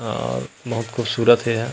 अअअ बहुत खूबसूरत हे एहा--